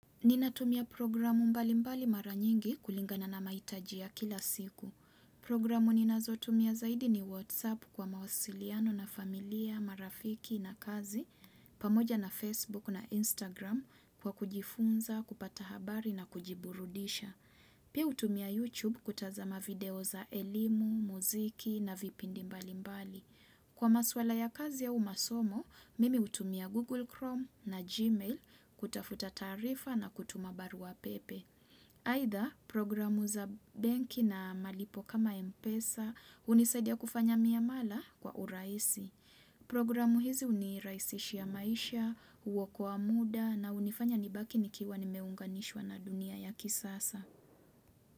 Ninatumia programu mbalimbali mara nyingi kulingana na mahitaji ya kila siku. Programu ninazotumia zaidi ni WhatsApp kwa mawasiliano na familia, marafiki na kazi, pamoja na Facebook na Instagram kwa kujifunza, kupata habari na kujiburudisha. Pia hutumia YouTube kutazama video za elimu, muziki na vipindi mbalimbali. Kwa maswala ya kazi au masomo, mimi hutumia Google Chrome na Gmail kutafuta taarifa na kutuma baruapepe. Aidha programu za benki na malipo kama Mpesa hunisaidia kufanya miamala kwa urahisi. Programu hizi hunirahisishia maisha, huokoa muda na unifanya nibaki nikiwa nimeunganishwa na dunia ya kisasa.